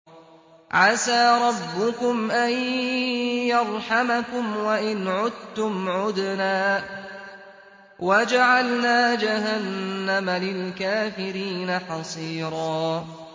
عَسَىٰ رَبُّكُمْ أَن يَرْحَمَكُمْ ۚ وَإِنْ عُدتُّمْ عُدْنَا ۘ وَجَعَلْنَا جَهَنَّمَ لِلْكَافِرِينَ حَصِيرًا